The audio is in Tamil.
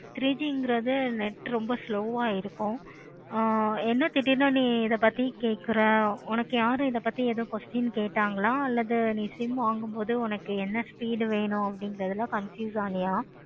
three G கிறது net slow ஆஹ் இருக்கும். ஆஹ் என்ன திடீருனு நீ இத பத்தி பேசுற உனக்கு யாரும் இத பத்தி ஏதும் question கேட்டார்களா அல்லது நீ sim வாங்கு போது உனக்கு என்ன speed வேணும். confuse ஆகுது